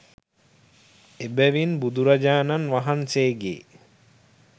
එබැවින් බුදුරජාණන් වහන්සේගේ